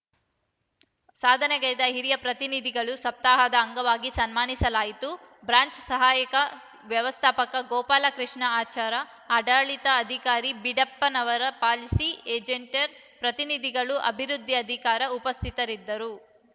ಸಾಧನೆಗೈದ ಹಿರಿಯ ಪ್ರತಿನಿಧಿಗಳನ್ನು ಸಪ್ತಾಹದ ಅಂಗವಾಗಿ ಸನ್ಮಾನಿಸಿಲಾಯಿತು ಬ್ರಾಂಚ್‌ ಸಹಾಯಕ ವ್ಯವಸ್ಥಾಪಕ ಗೋಪಾಲಕೃಷ್ಣ ಆಚಾರ ಆಡಳಿತಾಧಿಕಾರಿ ಬಿದ್ದಾಡಪ್ಪ ಪಾಲಸಿ ಏಜೆಂಟರು ಪ್ರತಿನಿಧಿಗಳು ಅಭಿವೃದ್ದಿ ಅಧಿಕಾರಿಗಳು ಉಪಸ್ಥಿತರಿದ್ದರು